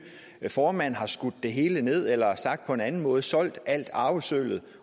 formand har skudt det hele ned eller sagt på en anden måde har solgt al arvesølvet